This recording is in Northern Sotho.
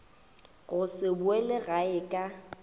go se boele gae ka